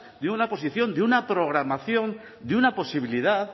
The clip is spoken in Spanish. de una posición de una programación de una posibilidad